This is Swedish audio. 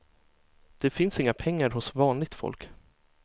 Det finns inga pengar hos vanligt folk.